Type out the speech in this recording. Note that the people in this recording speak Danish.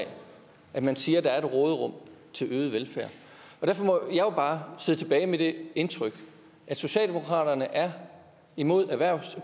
at man siger at der er et råderum til øget velfærd derfor må jeg jo bare sidde tilbage med det indtryk at socialdemokratiet er imod